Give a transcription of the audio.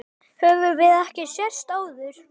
Höfum við ekki sést áður?